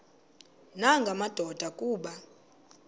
nanga madoda kuba